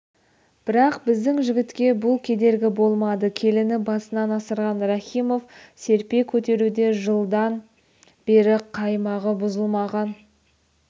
бірақ біздің жігітке бұл кедергі болмады келіні басынан асырған рахимов серпе көтеруде жылдан бері қаймағы бұзылмаған